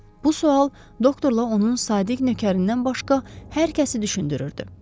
Bu sual doktorla onun sadiq nökərindən başqa hər kəsi düşündürürdü.